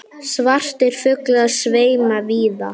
Svartir fuglar sveima víða.